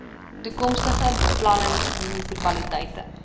toekomstige beplanning munisipaliteite